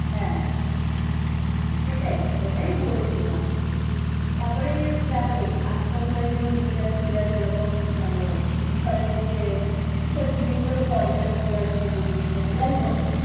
হ্যাঁ সেটাই ওটাই বলছিলাম তারপরে দেখো আজকালকার যেরাম বিদ্যার্থীরা যেরকম মানে বিষয় পড়তে বিষয় যেগুলো পড়ে যেমন ইতিহাস ভূগোল বিজ্ঞান যাই হোক